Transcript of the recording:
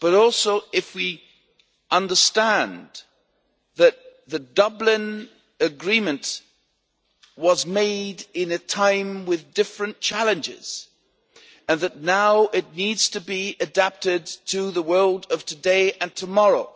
but also if we understand that the Dublin Agreement was made at a time of different challenges and that now it needs to be adapted to the world of today and tomorrow.